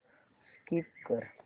skip कर